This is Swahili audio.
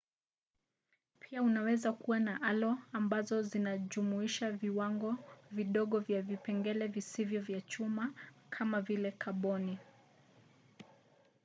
pia unaweza kuwa na alo ambazo zinajumuisha viwango vidogo vya vipengele visivyo vya chuma kamavile kaboni